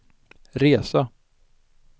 resa